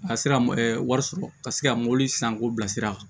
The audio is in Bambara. A sera wari sɔrɔ ka se ka mobili san k'o bila sira kan